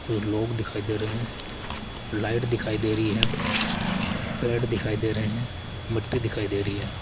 कुछ लोग दिखाई दे रहे हैं लाइट दिखाई दे रही है पेड़ दिखाई दे रहे हैं मिट्टी दिखाई दे रही है।